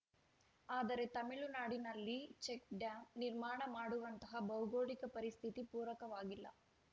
ಆದರೆ ತಮಿಳುನಾಡಿನಲ್ಲಿ ಚೆಕ್‌ಡ್ಯಾಂ ನಿರ್ಮಾಣ ಮಾಡುವಂತಹ ಭೌಗೋಳಿಕ ಪರಿಸ್ಥಿತಿ ಪೂರಕವಾಗಿಲ್ಲ